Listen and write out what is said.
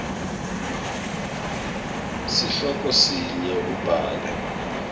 sihloko sinye ubhale